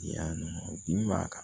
Yan nɔ bin b'a kan